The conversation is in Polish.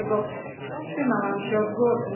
Dlatego wstrzymałam się od głosu.